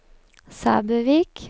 Sæbøvik